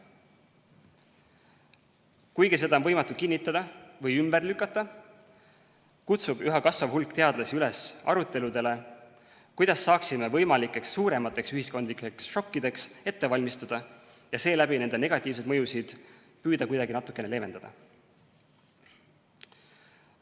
Kuigi seda on võimatu kinnitada või ümber lükata, kutsub üha kasvav hulk teadlasi üles aruteludele, kuidas saaksime ennast võimalikeks suuremateks ühiskondlikeks šokkideks ette valmistada ja seeläbi püüda negatiivseid mõjusid kuidagi natukene leevendada.